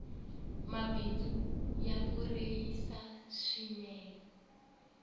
mabindzu ya vuyerisa swinee